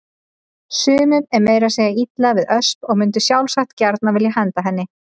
Sumum er meira að segja illa við Ösp og mundu sjálfsagt gjarnan vilja henda henni.